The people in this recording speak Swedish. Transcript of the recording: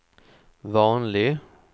vanlig